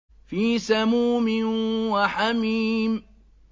فِي سَمُومٍ وَحَمِيمٍ